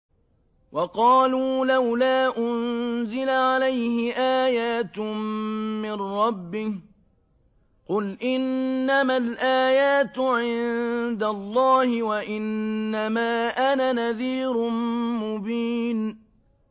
وَقَالُوا لَوْلَا أُنزِلَ عَلَيْهِ آيَاتٌ مِّن رَّبِّهِ ۖ قُلْ إِنَّمَا الْآيَاتُ عِندَ اللَّهِ وَإِنَّمَا أَنَا نَذِيرٌ مُّبِينٌ